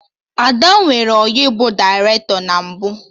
Ada nwere ọyị bụ dairetọ na mbụ